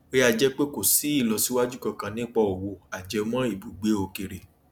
ó yà jẹ pé kò sí ìlọsíwájú kankan nípa òwò ajẹmọ ibùgbé òkèèrè